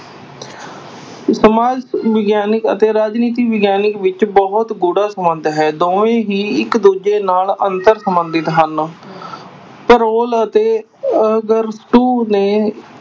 ਸਮਾਜ ਵਿਗਿਆਨ ਅਤੇ ਰਾਜਨੀਤੀ ਵਿਗਿਆਨ ਵਿਚ ਬਹੁਤ ਗੂੜ੍ਹਾ ਸੰਬੰਧ ਹੈ, ਦੋਵੇਂ ਹੀ ਇਕ-ਦੂਜੇ ਨਾਲ ਅੰਤਰ ਸੰਬੰਧਿਤ ਹਨ ਪਰੋਲ ਅਤੇ ਅਰਸਤੂ ਨੇ